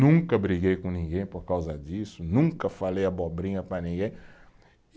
Nunca briguei com ninguém por causa disso, nunca falei abobrinha para ninguém.